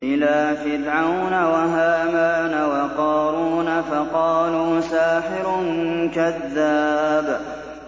إِلَىٰ فِرْعَوْنَ وَهَامَانَ وَقَارُونَ فَقَالُوا سَاحِرٌ كَذَّابٌ